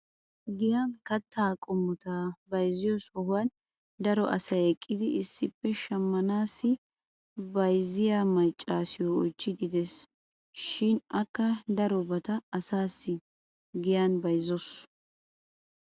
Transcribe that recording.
Giyan kataa qommota bayzziyo sohuwan daro asay eqqidi issippe shamanaassi bayzziya maccaassiyo oychchiidi des. shin akka darobata asaassi giyan bayzzawusu.